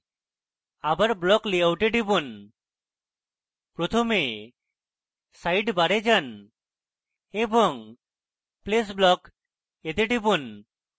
আবার block layout এ টিপুন প্রথমে সাইডবারে যান এবং place block এ টিপুন